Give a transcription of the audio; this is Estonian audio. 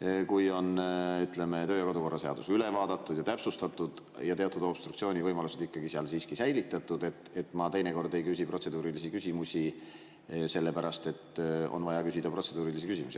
töö‑ ja kodukorra seadus üle vaadatud ja täpsustatud ja teatud obstruktsioonivõimalused seal siiski säilitatud, teinekord ei küsi protseduurilisi küsimusi, sellepärast et on vaja küsida protseduurilisi küsimusi.